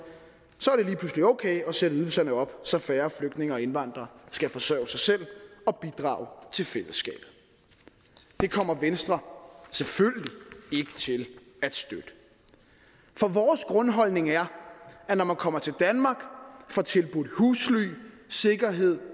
er okay at sætte ydelserne op så færre flygtninge og indvandrere skal forsørge sig selv og bidrage til fællesskabet det kommer venstre selvfølgelig ikke til at støtte for vores grundholdning er at når man kommer til danmark og får tilbudt husly sikkerhed og